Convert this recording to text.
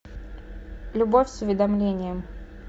любовь с уведомлением